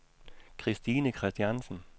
Christine Kristiansen